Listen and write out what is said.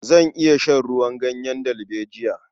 Zan iya shan ruwan ganyen dalbejiya.